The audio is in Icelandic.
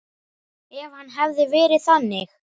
Ef hann hefði verið þannig.